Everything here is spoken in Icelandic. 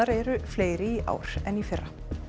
eru fleiri í ár en í fyrra